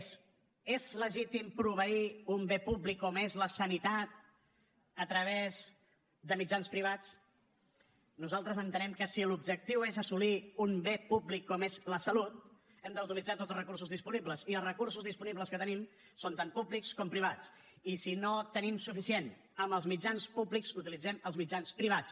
és legítim proveir un bé públic com és la sanitat a través de mitjans privats nosaltres entenem que si l’objectiu és assolir un bé públic com és la salut hem d’utilitzar tots els recursos disponibles i els recursos disponibles que tenim són tant públics com privats i si no en tenim suficient amb els mitjans públics utilitzem els mitjans privats